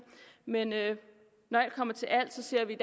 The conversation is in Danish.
men når alt kommer til alt ser vi